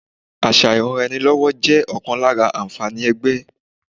Àṣà ìranraẹnilọ́wọ́ jẹ́ ọ̀kan lára àǹfààní ẹgbẹ́